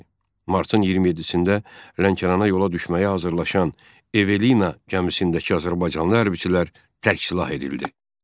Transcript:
Martın 27-də Lənkərana yola düşməyə hazırlaşan Evelina gəmisindəki azərbaycanlı hərbçilər tərksilah edildi.